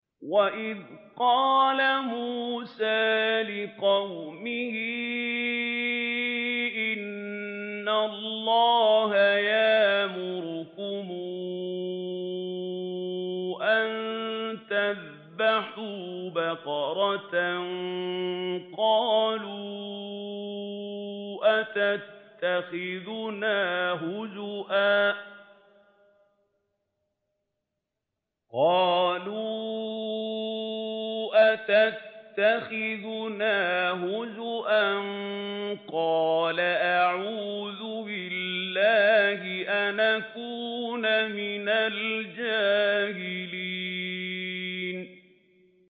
وَإِذْ قَالَ مُوسَىٰ لِقَوْمِهِ إِنَّ اللَّهَ يَأْمُرُكُمْ أَن تَذْبَحُوا بَقَرَةً ۖ قَالُوا أَتَتَّخِذُنَا هُزُوًا ۖ قَالَ أَعُوذُ بِاللَّهِ أَنْ أَكُونَ مِنَ الْجَاهِلِينَ